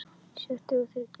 Sjötíu og þriggja ára!